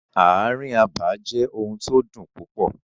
Ààrin abà jẹ́ ohun tó dùn púpọ̀.